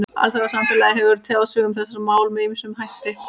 Alþjóðasamfélagið hefur tjáð sig um þessi mál með ýmsum hætti.